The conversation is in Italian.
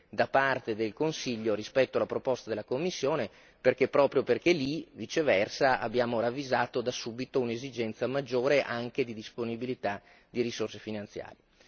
da parte del Consiglio rispetto alla proposta della Commissione, perché proprio lì viceversa abbiamo ravvisato da subito un'esigenza maggiore anche di disponibilità di risorse finanziarie.